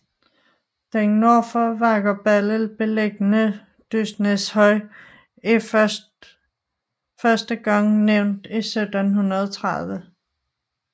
Den nord for Vakkerballe beliggende Dystnæshøj er første gang nævnt 1730